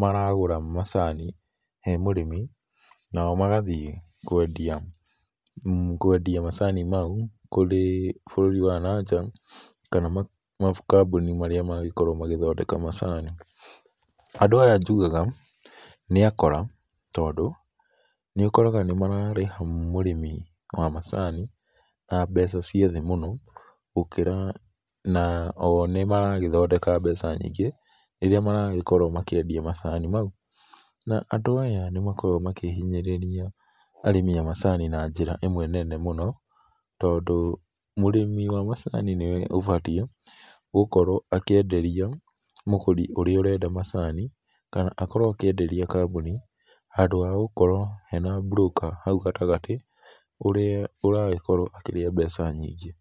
maragũra macani he mũrĩmi nao magathiĩ kwendia, kwendia macani mau kũrĩ bũrũri wa na nja kana makambuni marĩa mangĩkorwo magĩthondeka macani. Andũ aya njugaga nĩ akora, tondũ nĩũkoraga nĩmararĩha mũrĩmi wa macani na mbeca ciĩ thĩ mũno gũkĩra na oo nĩmaragĩthondeka mbeca nyingĩ rĩrĩa maragĩkorwo makĩendia macani mau. Na, andũ aya nĩmakoragwo makĩhinyĩrĩria arĩmi a macani na njĩra ĩmwe nene mũno, tondũ mũrĩmi wa macani nĩwe ũbatiĩ gũkorwo akĩenderia mũgũri ũrĩa ũrenda macani, kana akorwo akĩenderia kambuni handũ ha gũkorwo hena mburũka hau gatagatĩ, ũrĩa ũragĩkorwo akĩrĩa mbeca nyingĩ.